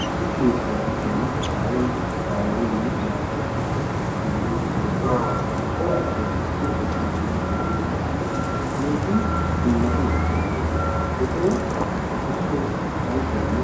issi keettaa giddon aawayi ayyiyaanee naati issippe shiiqidi de"iyoogee cora asay issippe shiiqidi de"iyoogaappe keehin dummati ekkiyaanne etawu eta soo ayisuwaanne